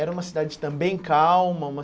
Era uma cidade também calma? Uma